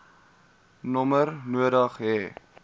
nommer nodig hê